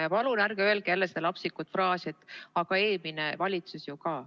Ja palun ärge öelge seda lapsikut fraasi "Aga eelmine valitsus ju ka ...".